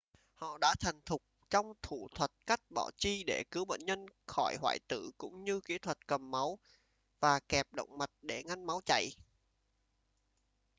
họ đã thành thục trong thủ thuật cắt bỏ chi để cứu bệnh nhân khỏi hoại tử cũng như kĩ thuật cầm máu và kẹp động mạch để ngăn máu chảy